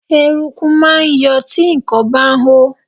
Eruku máa ń yọ tí nǹkan bá hó.